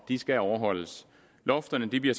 de skal overholdes lofterne bliver